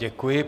Děkuji.